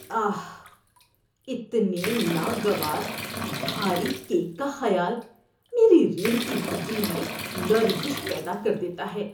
آہ، اتنے ناگوار بھاری کیک کا خیال میری ریڑھ کی ہڈی میں لرزش پیدا کر دیتا ہے۔